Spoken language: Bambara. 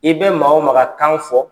I bɛ maa o maa ka kan fɔ